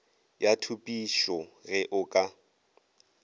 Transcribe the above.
ya thupišo ge o ka